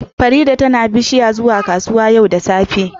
Farida tana bishiya zuwa kasuwa yau da safe